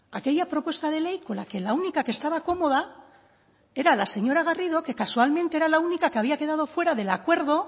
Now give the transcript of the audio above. aquella propuesta de ley con la que la única que estaba cómoda era la señora garrido que casualmente era la única que había quedado fuera del acuerdo